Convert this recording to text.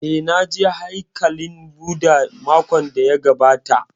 Eh, na je haikalin Bhudha makon da ya gabata